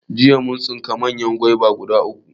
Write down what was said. Jiya mun tsinka manyan goba guda uku